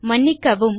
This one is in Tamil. மன்னிக்கவும்